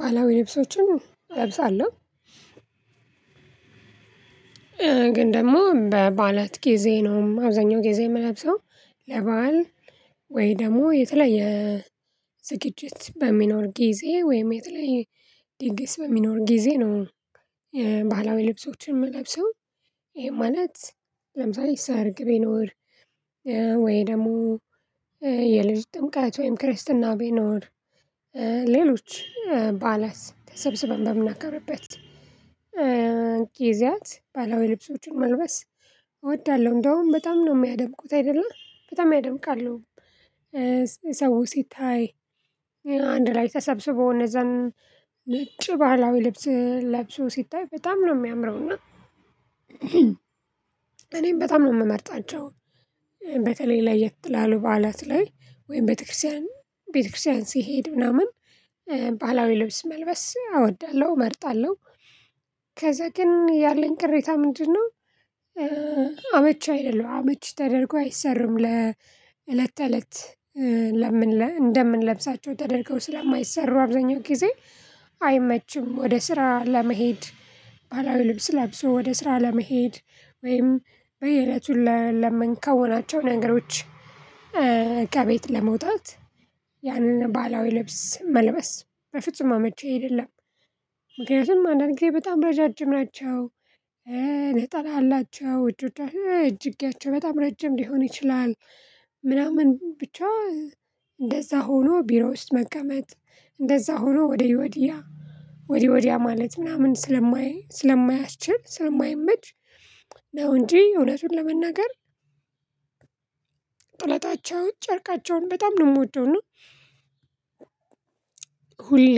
ባህላዊ ልብሶችን እለብሳለሁ። ግን ደግሞ በባዕላት ጊዜ ነው አብዛኛው ጊዜ የምለብሰው ወይ ደግሞ የተለያየ ዝግጅት በሚኖር ጊዜ ወይም የተለያየ ድግስ በሚኖር ጊዜ ነው። ባህላዊ ልብሶችን የምለብሰው ይሄ ማለት ለምሳሌ ሰርግ ቢኖር ወይ ደግሞ የልጅ ጥምቀት ወይም ክርስትና ቢኖር ሌሎች ባዕላት ተሰብስበን በምናከብርበት ጊዜያት ባህላዊ ልብሶችን መልበስ እወዳለሁ እንደውም በጣም ነው የሚያደምቁት አይደለ በጣም ያደምቃሉ። ሰው ሲታይ አንድ ላይ ተሰብስበው እነዛን ነጭ ባህላዊ ልብስ ለብሶ ሲታይ በጣም ነው የሚያምረው እና እኔም በጣም ነው የምመርጣቸው። በተለይ ለየት ላሉ በዓላት ላይ ወይም ቤተክርስቲያን ቤተክርስቲያን ስሄድ ምናምን ባህላዊ ልብስ መልበስ አወዳለሁ እመርጣለሁ። ከዛ ግን ያለኝ ቅሬታ ምንድነው? አመቺ አይደሉም አመቺ ተደርጎ አይሰሩም ለእለት ተእለት እንደምንለብሳቸው ተደርገው ስለማይሰሩ አብዛኛው ጊዜ አይመችም። ወደ ስራ ለመሄድ ባህላዊ ልብስ ለብሶ ወደ ስራ ለመሄድ ወይም በየእለቱ ለምንከውናቸው ነገሮች ከቤት ለመውጣት ያንን ባህላዊ ልብስ መልበስ በፍጹም አመቺ አይደለም። ምክንያቱም አንዳንድ ጊዜ በጣም ረዣዥም ናቸው ነጠላ አላቸው እጅጌያቸው በጣም ረጅም ሊሆን ይችላል። ብቻ እንደዛ ሆኖ ቢሮ ውስጥ መቀመጥ እንደዛ ሆኖ ወዲ ወዲያ ወዲ ወዲያ ማለት ምናምን ስለማይ ስለማያስችል ስለማይመች ነው እንጂ እውነቱን ለመናገር። ጥለታቸውን ጨርቃቸውን በጣም ነው የምወደው እና ሁሌ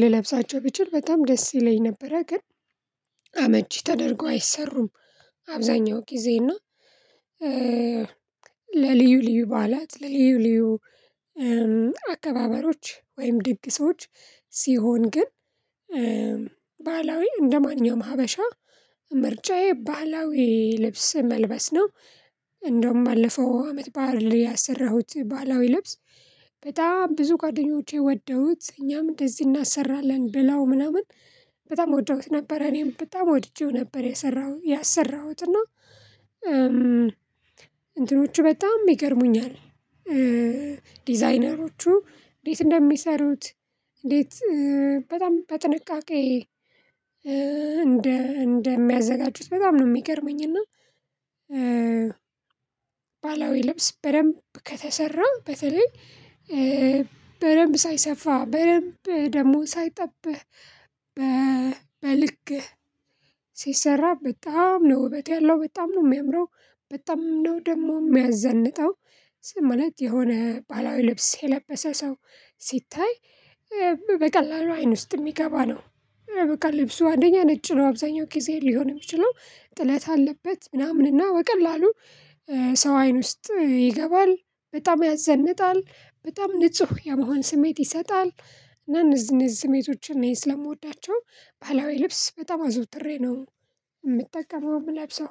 ልለብሳቸው ብችል በጣም ደስ ይለኝ ነበረ ግን አመቺ ተደርጎ አይሰሩም። አብዛኛው ጊዜ እና ለልዩ ልዩ በዓላት ለልዩ ልዩ አካባበሮች ወይም ድግሶች ሲሆን ግን ባህላዊ እንደማንኛውም ሀበሻ ምርጫዬ ባህላዊ ልብስ መልበስ ነው። እንደውም ባለፈው አመት ባእል ያሰራሁት ባህላዊ ልብስ በጣም ብዙ ጓደኞቼ ወደውት እኛም እንደዚህ እናሰራለን ብላው ምናምን በጣም ወደውት ነበር እኔም በጣም ወድጄው ነበር። ያሰራሁት እና እንትኖቹ በጣም ይገርሙኛል ዲዛይነሮቹ እንዴት እንደሚሰሩት እንዴት በጣም በጥንቃቄ እንደ እንደሚያዘጋጁት በጣም ነው የሚገርመኝና። ባህላዊ ልብስ በደንብ ከተሰራ በተለይ በደንብ ሳይሰፋ በደንብ ደግሞ ሳይጠብህ በልክህ ሲሰራ በጣም ነው ውበት ያለው በጣም ነው የሚያምረው። በጣም ነው ደግሞ የሚያዘንጠው ስም ማለት የሆነ ባላዊ ልብስ የለበሰ ሰው ሲታይ በቀላሉ አይን ውስጥ የሚገባ ነው። በቃ ልብሱ አንደኛ ነጭ ነው አብዛኛው ጊዜ ሊሆን የሚችለው ጥለት አለበት ምናምን እና በቀላሉ ሰው አይን ውስጥ ይገባል በጣም ያዘንጣል በጣም ንጹህ የመሆን ስሜት ይሰጣል። እና እነዚእነዚ ስሜቶችን እኔ ስለምወዳቸው ባህላዊ ልብስ በጣም አዘውትሬ ነው የምጠቀመው የምለብሰው።